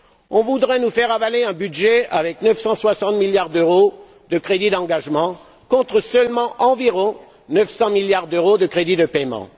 On voudrait nous faire avaler un budget avec 960 milliards d'euros de crédit d'engagement contre seulement environ 900 milliards d'euros de crédit de paiement.